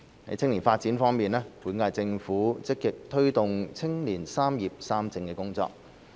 青年發展本屆政府積極推動青年"三業三政"的工作。